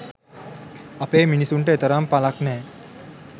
අපේ මිනිසුන්ට එතරම් පලක් නැහැ.